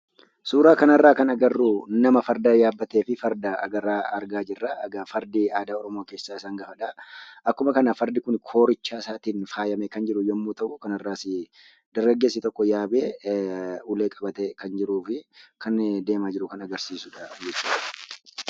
Suuraa kanarraa kan agarruu nama farda yaabbatee fi farda argaa jirra. Egaa Fardi aadaa Oromoo keessaa isa hangafadha. Akkuma kana fardi kun koorichaasaatiin faayamee kan jiru yemmuu ta'u kanarraasi dargaggeessi tokko yaabee ulee qabatee kan jiruufi kan deeemaa jiru kan agarsiisudha jechuudha.